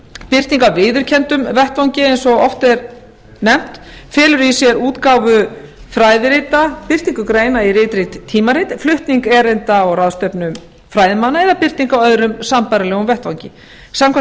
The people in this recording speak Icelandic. birting á viðurkenndum vettvangi felur í sér útgáfu fræðirita birtingu greina í ritrýnd tímarit flutning erinda á ráðstefnum fræðimanna eða birtingu á öðrum sambærilegum vettvangi samkvæmt áttundu